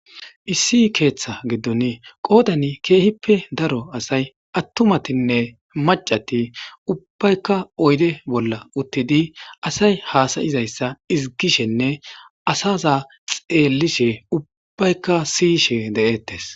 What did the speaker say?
issi keeththa giddon qoodani keehippe daro asay attumatinne macati ubbaykka oyde bolla uttidi asay haasayizayssa izigishenne asaza xeellishe ubbaykka siyishe de7ettes